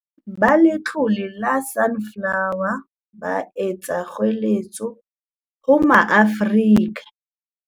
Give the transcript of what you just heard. Ba Letlole la Sunflo wer, ba etsa kgoeletso ho Maafrika